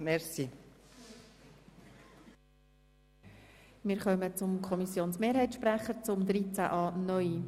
Der Kommissionsmehrheitssprecher hat das Wort zu Artikel 13a(neu).